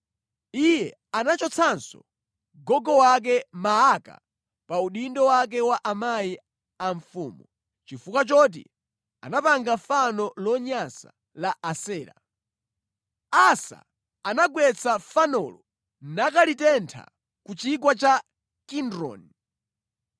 Iye anachotsanso gogo wake Maaka pa udindo wake wa amayi a mfumu, chifukwa choti anapanga fano lonyansa la Asera. Asa anagwetsa fanolo nakalitentha ku Chigwa cha Kidroni.